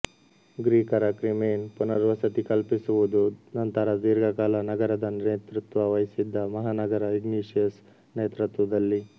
ಗ್ರೀಕರ ಕ್ರಿಮೇನ್ ಪುನರ್ವಸತಿ ಕಲ್ಪಿಸುವುದು ನಂತರ ದೀರ್ಘಕಾಲ ನಗರದ ನೇತೃತ್ವ ವಹಿಸಿದ್ದ ಮಹಾನಗರ ಇಗ್ನೇಷಿಯಸ್ ನೇತೃತ್ವದಲ್ಲಿ